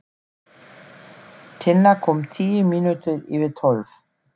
Tinna kom tíu mínútur yfir tólf.